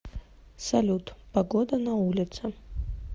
салют погода на улице